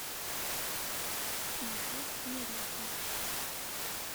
маршрут имерети